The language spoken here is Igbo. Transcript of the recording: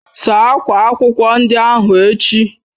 Saa akwa akwụkwọ ndị ahụ echi!